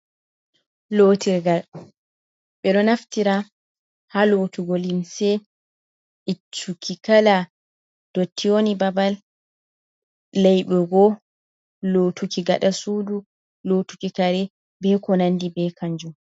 Lotirgal ɓe ɗo naftira ha lotugo limse ittu ki kala dotti woni babal laibego lotuki gida sudu lotuki kare be ko nandi be kanju.